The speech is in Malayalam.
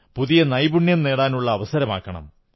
പുതിയ നൈപുണ്യം നേടാനുള്ള അവസരമാക്കണം